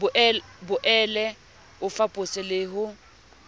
boele o fapose le ho